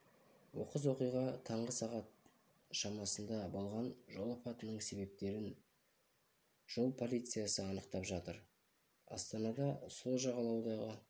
оқыс оқиға таңғы сағат шамасында болған жол апатының себептерін жол полициясы анықтап жатыр астанада сол жағалаудағы